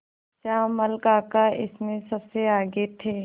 श्यामल काका इसमें सबसे आगे थे